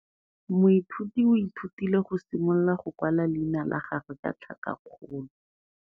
Moithuti o ithutile go simolola go kwala leina la gagwe ka tlhakakgolo.